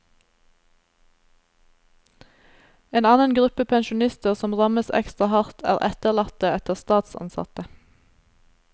En annen gruppe pensjonister som rammes ekstra hardt, er etterlatte etter statsansatte.